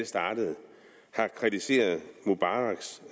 startede har kritiseret mubaraks